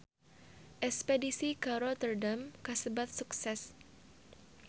Espedisi ka Rotterdam kasebat sukses